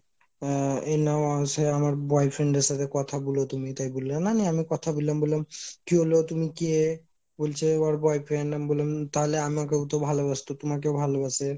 আহ এ নাও আ সেই আমার boyfriend এর সাথে কথা বলো তুমি তাই বললে না আমি কথা বললাম বলে কি হল, তুমি কে ? বলছে ওর boyfriend আমি বললাম তাহলে আমাকেও তো ভালোবাসত তোমাকে ও ভালোবাসে